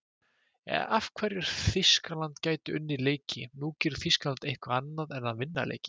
Af hverju Þýskaland gæti unnið leiki: Nú, gerir Þýskaland eitthvað annað en að vinna leiki?